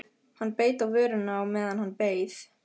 Hann beit á vörina á meðan hann beið.